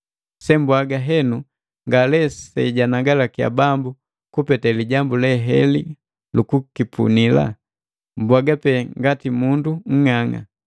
Sembwaaga henu ngale sejanagalakiya Bambu, kupete lijambu le heli lu kukipunii, mbwaga pe ngati mundu nng'ang'a.